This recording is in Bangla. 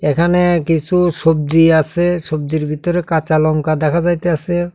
এখানে কিসু সবজি আসে সবজির ভিতরে কাঁচা লঙ্কা দেখা যাইতাসে।